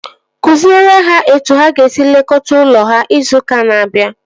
Kụziere ha etu ha ga-esi lekọta ụlọ ha izu ụka na-abịa!